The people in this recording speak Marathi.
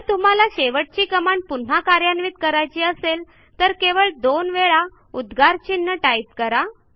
जर तुम्हाला शेवटची कमांड पुन्हा कार्यान्वित करायची असेल तर केवळ दोन वेळा उद्गारचिन्ह टाईप करा